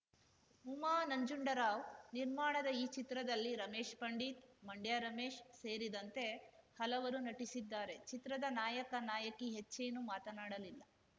ಉಮಾ ನಂಜುಡರಾವ್‌ ನಿರ್ಮಾಣದ ಈ ಚಿತ್ರದಲ್ಲಿ ರಮೇಶ್‌ ಪಂಡಿತ್‌ ಮಂಡ್ಯ ರಮೇಶ್‌ ಸೇರಿದಂತೆ ಹಲವರು ನಟಿಸಿದ್ದಾರೆ ಚಿತ್ರದ ನಾಯಕ ನಾಯಕಿ ಹೆಚ್ಚೇನು ಮಾತನಾಡಲಿಲ್ಲ